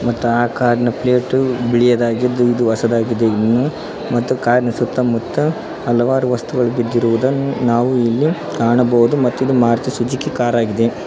ಮತ್ತು ಆ ಕಾರ್ ನ ಪ್ಲೇಟ್ ಬಿಳಿಯದಾಗಿದ್ದು ಇದು ಹೊಸದಾಗಿದೆ ಇನ್ನೂ ಮತ್ತು ಕಾರ್ ನ ಸುತ್ತಮುತ್ತ ಹಲವಾರು ವಸ್ತುಗಳು ಬಿದ್ದಿರುವುದನ್ನು ನಾವು ಇಲ್ಲಿ ಕಾಣಬಹುದು ಮತ್ತು ಇದು ಮಾರುತಿ ಸುಜುಕಿ ಕಾರ್ ಆಗಿದೆ.